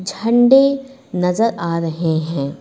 झंडे नजर आ रहे हैं।